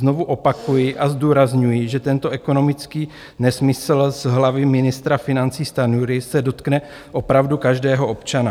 Znovu opakuji a zdůrazňuji, že tento ekonomický nesmysl z hlavy ministra financí Stanjury se dotkne opravdu každého občana.